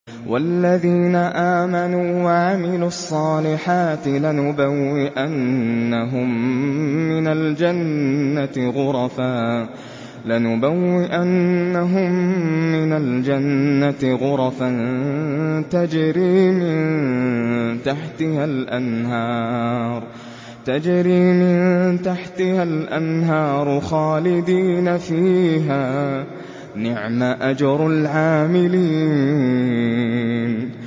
وَالَّذِينَ آمَنُوا وَعَمِلُوا الصَّالِحَاتِ لَنُبَوِّئَنَّهُم مِّنَ الْجَنَّةِ غُرَفًا تَجْرِي مِن تَحْتِهَا الْأَنْهَارُ خَالِدِينَ فِيهَا ۚ نِعْمَ أَجْرُ الْعَامِلِينَ